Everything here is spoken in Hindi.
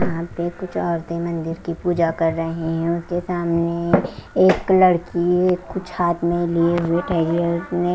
यहा पे कुछ औरते मंदिर की पूजा कर रही है उनके सामने एक लड़की कुछ हाथ में लिए हुए--